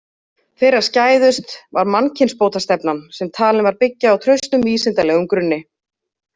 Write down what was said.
Þeirra skæðust var mannkynbótastefnan, sem talin var byggja á traustum vísindalegum grunni.